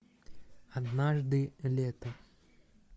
однажды летом